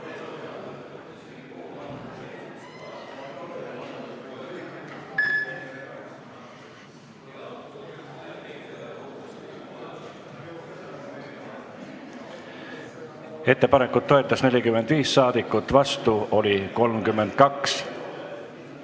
Hääletustulemused Ettepanekut toetas 45 saadikut, vastu oli 32.